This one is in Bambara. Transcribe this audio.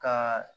Ka